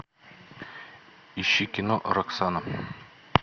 ищи кино роксана